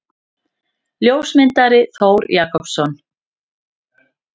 Ljósmyndari: Þór Jakobsson.